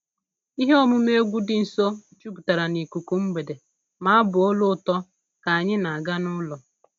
Ihe omume egwu dị nso jupụtara n'ikuku mgbede ma abụ olu ụtọ ka anyị na-aga n'ụlọ